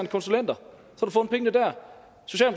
konsulenter